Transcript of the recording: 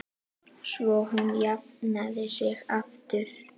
Svo hún jafni sig aftur.